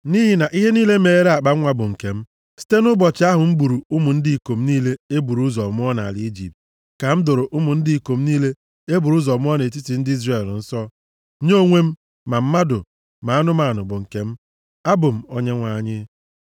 Nʼihi na ihe niile meghere akpanwa bụ nke m. Site nʼụbọchị ahụ m gburu ụmụ ndị ikom niile e buru ụzọ mụọ nʼala Ijipt ka m doro ụmụ ndị ikom niile e buru ụzọ mụọ nʼetiti ndị Izrel nsọ nye onwe m, ma mmadụ, ma anụmanụ bụ nke m. Abụ m Onyenwe anyị.”